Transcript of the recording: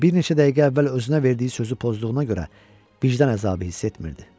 O bir neçə dəqiqə əvvəl özünə verdiyi sözü pozduğuna görə vicdan əzabı hiss etmirdi.